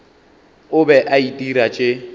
o be a itira tše